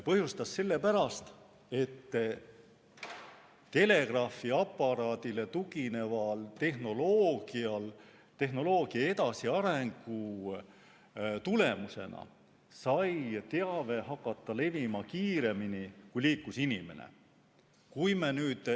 Põhjustas sellepärast, et telegraafiaparaadile tugineva tehnoloogia edasiarengu tulemusena sai teave hakata levima kiiremini, kui liikus inimene.